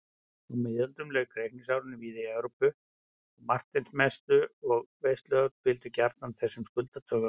Á miðöldum lauk reikningsárinu víða í Evrópu á Marteinsmessu og veisluhöld fylgdu gjarnan þessum skuldadögum.